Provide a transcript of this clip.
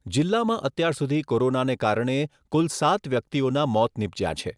જીલ્લામાં અત્યારસુધી કોરોનાને કારણે કુલ સાત વ્યક્તિઓના મોત નિપજ્યાં છે.